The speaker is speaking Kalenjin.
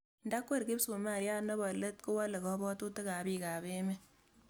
Nda kwer kipsumariat nebo let kowale kabwatutik ab piik ab emet